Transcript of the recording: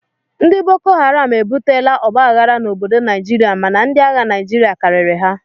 Ndị bokoharam ebutela ọgba aghara n'obodo Naijiria mana ndi agha Naijiria karịrị ha